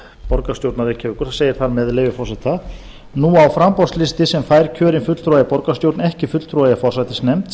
borgarstjórnar reykjavíkur það segir þar með leyfi forseta nú á framboðslisti sem fær kjörinn fulltrúa í borgarstjórn ekki fulltrúa í forsætisnefnd